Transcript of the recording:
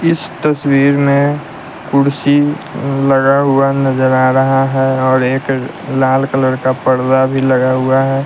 इस तस्वीर में कुर्सी लगा हुआ नजर आ रहा है और एक लाल कलर का पढ़ना भी लगा हुआ है।